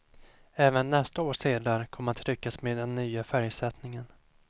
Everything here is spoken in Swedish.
Även nästa års sedlar kommer att tryckas med den nya färgsättningen.